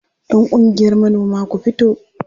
Yan ƙungiyar manoma ku fito!